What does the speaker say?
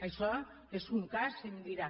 això és un cas se’m dirà